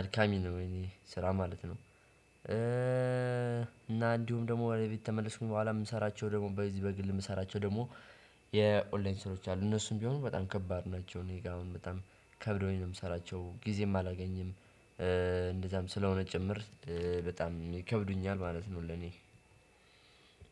አድካሚ ነው የኔ ስራ ማለት ነው። እና እንዲሁም ደግሞ ወደ ቤት ከተመለስኩኝ በኋላ የምሰራቸው ደግሞ በዚህ በግል የምሰራቸው ደግሞ የኦንላይን ስራዎች አሉ እነሱም ቢሆኑ በጣም ከባድ ናቸው። እኔ ጋር አሁን በጣም ከብዶኝ ነው የምሰራቸው ጊዜም አላገኝም። እንደዛም ስለሆነ ጭምር በጣም ይከብዱኛል ማለት ነው። ለኔ